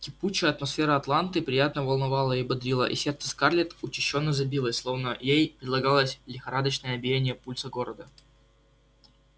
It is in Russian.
текучая атмосфера атланты приятно волновала и бодрила и сердце скарлетт учащённо забилось словно ей передалось лихорадочное биение пульса города